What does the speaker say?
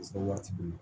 waati dun na